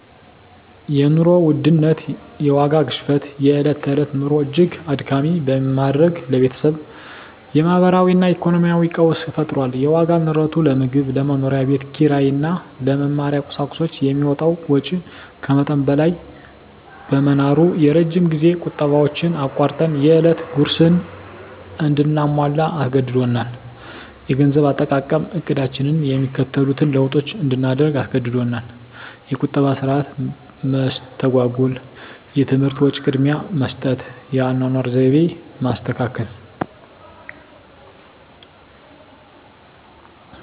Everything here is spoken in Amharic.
የኑሮ ውድነት (የዋጋ ግሽበት) የዕለት ተዕለት ኑሮን እጅግ አድካሚ በማድረግ ለቤተሰቡ የማህበራዊ እና ኢኮኖሚያዊ ቀውስ ፈጥሯል። የዋጋ ንረቱ ለምግብ፣ ለመኖሪያ ቤት ኪራይ እና ለመማሪያ ቁሳቁሶች የሚወጣውን ወጪ ከመጠን በላይ በማናሩ፣ የረጅም ጊዜ ቁጠባዎችን አቋርጠን የዕለት ጉርስን እንድናሟላ አስገድዶናል። -የገንዘብ አጠቃቀም ዕቅዳችንን የሚከተሉትን ለውጦች እንድናደርግ አስገድዶናል -የቁጠባ ሥርዓት መስተጓጎል -የትምህርት ወጪ ቅድሚያ መስጠት -የአኗኗር ዘይቤ ማስተካከል